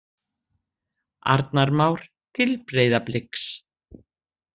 Arnar Már til Breiðabliks